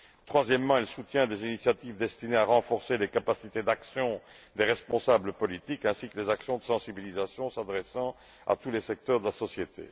Troisièmement, elle soutient des initiatives destinées à renforcer les capacités d'action des responsables politiques ainsi que les actions de sensibilisation s'adressant à tous les secteurs de la société.